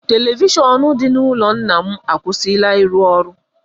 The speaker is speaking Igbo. Televishọnụ dị n’ọnụ ụlọ nna m akwụsịla ịrụ ọrụ.